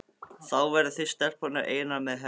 Þá verðið þið stelpurnar einar með henni.